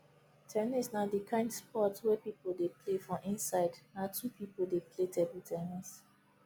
ten nis na di kind sport wey pipo dey play for inside na two pipo dey play table ten nis